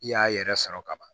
I y'a yɛrɛ sɔrɔ ka ban